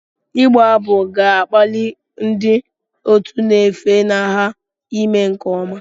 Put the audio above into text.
Ịgba abụ ga-akpali ndị otu na-efunahụ ime nke ọma